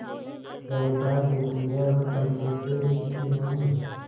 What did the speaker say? जायदाद जितनी है वह पंचों से छिपी नहीं